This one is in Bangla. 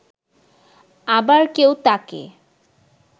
আবার কেউ তাকে